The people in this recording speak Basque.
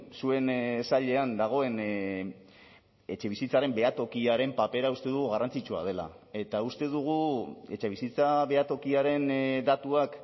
zuen sailean dagoen etxebizitzaren behatokiaren papera uste dugu garrantzitsua dela eta uste dugu etxebizitza behatokiaren datuak